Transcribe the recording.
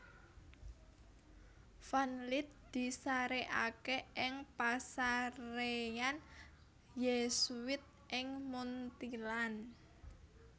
Van Lith disarèkaké ing pasaréyan Yésuit ing Munthilan